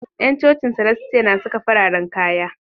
Yan cocin salastia na saka fararen kaya